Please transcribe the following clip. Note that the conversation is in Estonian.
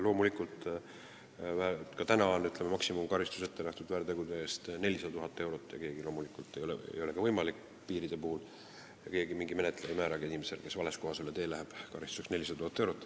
Ka täna on maksimumkaristusena väärtegude eest ette nähtud 400 000 eurot, aga ükski menetleja ei määra inimesele, kes vales kohas üle tee läheb, karistuseks 400 000 eurot.